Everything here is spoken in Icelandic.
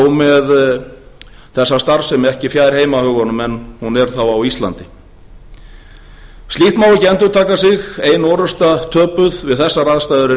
með þessa starfsemi ekki fjær heimahögunum en hún er þá á íslandi slíkt má ekki endurtaka sig ein orrusta töpuð við þessar aðstæður er